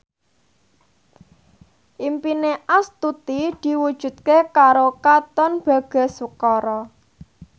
impine Astuti diwujudke karo Katon Bagaskara